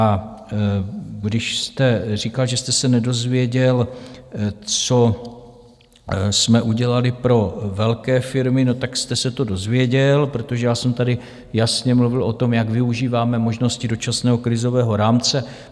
A když jste říkal, že jste se nedozvěděl, co jsme udělali pro velké firmy: no, tak jste se to dozvěděl, protože já jsem tady jasně mluvil o tom, jak využíváme možnosti dočasného krizového rámce.